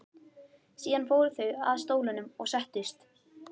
Síðan fóru þeir að stólunum og settust.